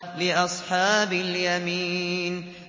لِّأَصْحَابِ الْيَمِينِ